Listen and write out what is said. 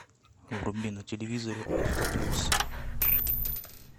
вруби на телевизоре авто плюс